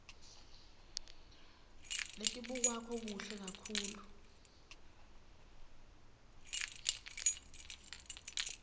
letibukwako kuhle kakhulu